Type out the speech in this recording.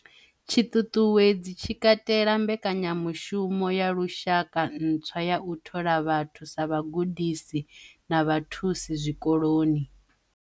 Tshiṱuṱuwedzi tshi katela mbekanyamushumo ya lu shaka ntswa ya u thola vhathu sa vhagudisi na vhathusi zwikoloni.